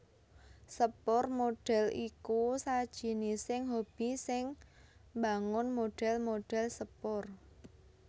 Sepur modèl iku sajinising hobi sing mbangun modèl modèl sepur